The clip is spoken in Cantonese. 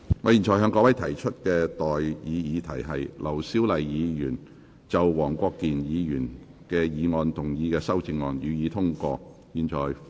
我現在向各位提出的待議議題是：劉小麗議員就黃國健議員議案動議的修正案，予以通過。